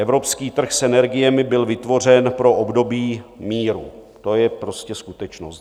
Evropský trh s energiemi byl vytvořen pro období míru, to je prostě skutečnost.